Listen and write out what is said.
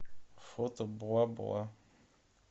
фото бла бла